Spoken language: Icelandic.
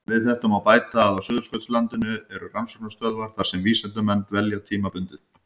Við þetta má bæta að á Suðurskautslandinu eru rannsóknarstöðvar þar sem vísindamenn dvelja tímabundið.